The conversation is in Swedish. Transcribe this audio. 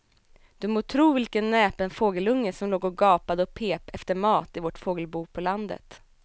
Du må tro vilken näpen fågelunge som låg och gapade och pep efter mat i vårt fågelbo på landet.